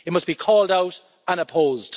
it must be called out and opposed.